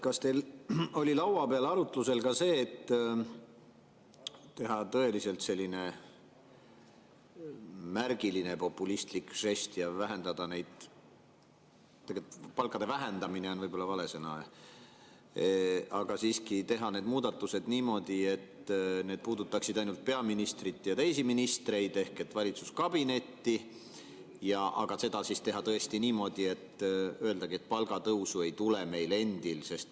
Kas teil oli laua peal arutusel ka see, et ehk teha selline tõeliselt märgiline populistlik žest ja vähendada neid – tegelikult palkade "vähendamine" on võib-olla vale sõna –, et teha need muudatused niimoodi, et need puudutaksid ainult peaministrit ja teisi ministreid ehk et valitsuskabinetti, ja teha seda niimoodi, et öelda, et palgatõusu meil endil ei tule?